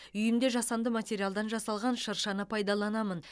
үйімде жасанды материалдан жасалған шыршаны пайдаланамын